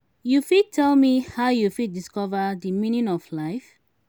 you fit tell me how you fit discover di meaning of life?